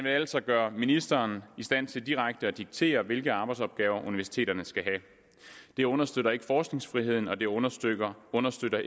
altså gøre ministeren i stand til direkte at diktere hvilke arbejdsopgaver universiteterne skal have det understøtter ikke forskningsfriheden og det understøtter understøtter